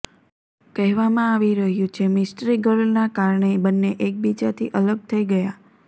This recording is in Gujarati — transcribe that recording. કહેવામાં આવી રહ્યું છે મિસ્ટ્રી ગર્લના કારણે બંને એકબીજાથી અલગ થઈ ગયા